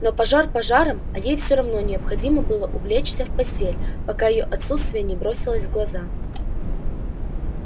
но пожар пожаром а ей всё равно необходимо было улечься в постель пока её отсутствие не бросилось в глаза